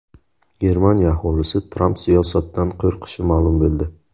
Germaniya aholisi Tramp siyosatidan qo‘rqishi ma’lum bo‘ldi.